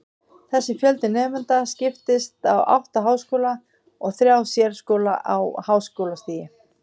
Þessi fjöldi nemenda skiptist á átta háskóla og þrjá sérskóla á háskólastigi.